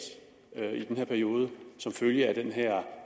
i den her periode som følge af